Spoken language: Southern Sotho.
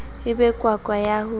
e be kwakwa ya ho